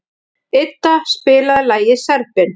Idda, spilaðu lagið „Serbinn“.